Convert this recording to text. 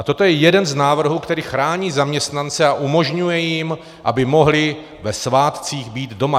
A toto je jeden z návrhů, který chrání zaměstnance a umožňuje jim, aby mohli ve svátcích být doma.